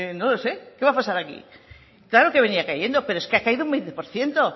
no lo sé qué va a pasar aquí claro que venía cayendo pero es que ha caído un veinte por ciento